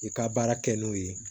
I ka baara kɛ n'o ye